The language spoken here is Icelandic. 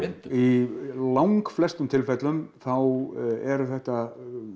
í langflestum tilfellum þá eru þetta